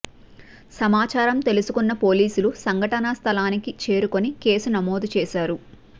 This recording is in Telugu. సమాచారం తెలుసుకున్న పోలీసులు సంఘటన స్థలానికి చేరుకుని కేసు నమోదు చేశారు